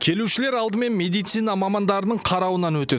келушілер алдымен медицина мамандарының қарауынан өтеді